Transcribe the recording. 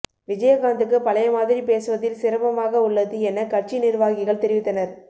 விஜயகாந்த் கு பழையமாதிரி பேசுவுதில் சிரமமாக உள்ளது என கட்சி நிர்வாகிகள் தெரிவித்தனர்